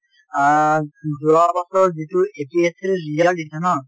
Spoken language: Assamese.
আ যোৱা বছৰ যিটো APSC ৰ result দিছে ন